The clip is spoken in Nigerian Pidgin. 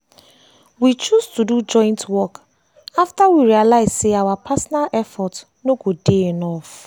we choose to do joint work after we realize say our personal effort no go dey enough.